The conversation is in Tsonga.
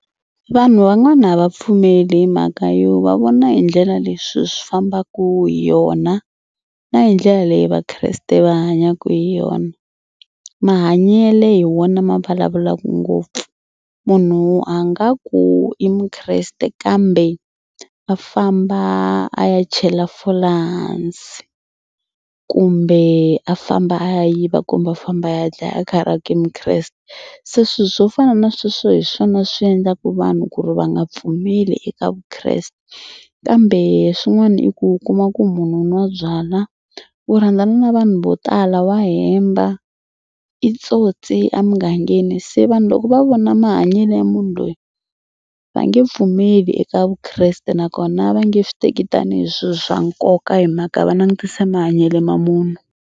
Vanhu van'wani a va pfumeli hi mhaka yo va vona hi ndlela leswi swilo swi fambaka hi yona na hi ndlela leyi vakreste va hanyaka hi yona. Mahanyele hi wona ma vulavulaka ngopfu munhu a nga ku i mukreste kambe a famba a ya chela fole hansi kumbe a famba a ya yiva kumbe a famba a ya dlaya a karhi a ku i mukreste. Se swilo swo fana na sweswo hi swona swi endlaka vanhu ku ri va nga pfumeli eka vukreste kambe swin'wana i ku u kuma ku munhu u nwa byalwa u rhandzana na vanhu vo tala wa hemba i tsotsi a mugangeni se vanhu loko va vona mahanyelo ya munhu loyi va nge pfumeli eka vukreste nakona va nge swi teki tanihi swilo swa nkoka hi mhaka va langutise mahanyelo ma munhu.